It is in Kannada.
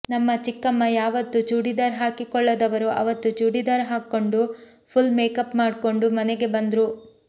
ನಮ್ಮ ಚಿಕ್ಕಮ್ಮ ಯಾವತ್ತು ಚೂಡಿದಾರ್ ಹಾಕಿಕೊಳ್ಳದವರು ಅವತ್ತು ಚೂಡಿದಾರ್ ಹಾಕ್ಕಂಡು ಫುಲ್ ಮೇಕಪ್ ಮಾಡ್ಕಂಡು ಮನೆಗೆ ಬಂದ್ರು